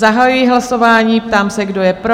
Zahajuji hlasování, ptám se, kdo je pro?